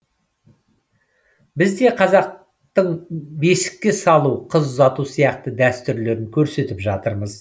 біз де қазақтың бесікке салу қыз ұзату сияқты дәстүрлерін көрсетіп жатырмыз